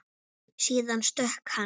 Síðan stökk hann.